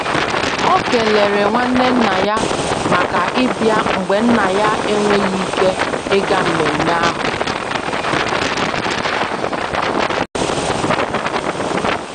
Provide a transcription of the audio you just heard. O kelere nwanne nna ya maka ịbia mgbe Nna ya enweghị ike ịga mmemme ahụ.